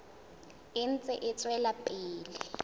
e ntse e tswela pele